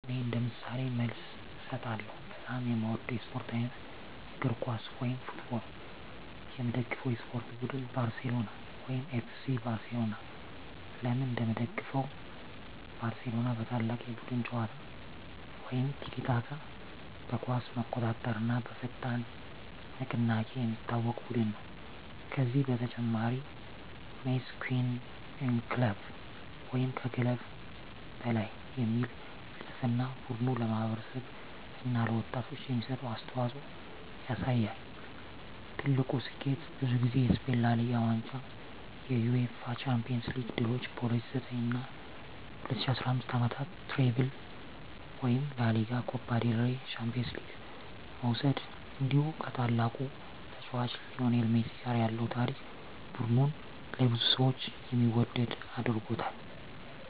እኔ እንደ ምሳሌ መልስ እሰጣለሁ፦ በጣም የምወደው የስፖርት አይነት: እግር ኳስ (Football) የምደግፈው የስፖርት ቡድን: ባርሴሎና (FC Barcelona) ለምን እንደምደግፈው: ባርሴሎና በታላቅ የቡድን ጨዋታ (tiki-taka)፣ በኳስ መቆጣጠር እና በፈጣን ንቅናቄ የሚታወቅ ቡድን ነው። ከዚህ በተጨማሪ “Mes que un club” (ከክለብ በላይ) የሚል ፍልስፍናው ቡድኑ ለማህበረሰብ እና ለወጣቶች የሚሰጠውን አስተዋፅኦ ያሳያል። ትልቁ ስኬቱ: ብዙ ጊዜ የስፔን ላ ሊጋ ዋንጫ የUEFA ቻምፒዮንስ ሊግ ድሎች በ2009 እና 2015 ዓመታት “ትሪፕል” (ላ ሊጋ፣ ኮፓ ዴል ሬይ፣ ቻምፒዮንስ ሊግ) መውሰድ እንዲሁ ከታላቁ ተጫዋች ሊዮኔል ሜሲ ጋር ያለው ታሪክ ቡድኑን ለብዙ ሰዎች የሚወደድ አድርጎታል።